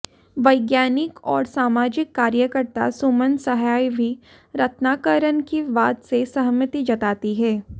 वैज्ञानिक और सामाजिक कार्यकर्ता सुमन सहाय भी रत्नाकरन की बात से सहमति जताती हैं